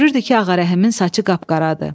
Görürdü ki, Ağarəhimin saçı qapqaradır.